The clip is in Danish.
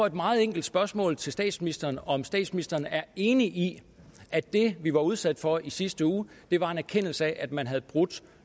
et meget enkelt spørgsmål til statsministeren om statsministeren er enig i at det vi var udsat for i sidste uge var en erkendelse af at man havde brudt